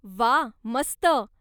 व्वा! मस्त!